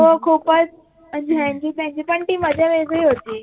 हो खूपच म्हणजे ह्यांची त्यांची पण ती मजा वेगळी होती